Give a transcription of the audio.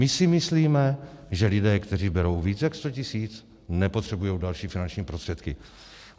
My si myslíme, že lidé, kteří berou víc než 100 tisíc, nepotřebují další finanční prostředky.